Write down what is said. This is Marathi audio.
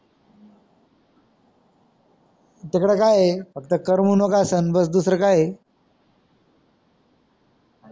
तिकड काय आहे फक्त करमू नकासन बस दुसर काय आह